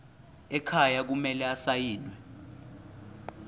ekhaya kumele asayiniwe